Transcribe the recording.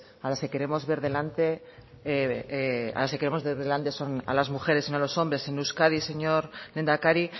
a las que queremos ver delante a las que queremos ver delante son a las mujeres y no a los hombres en euskadi señor lehendakari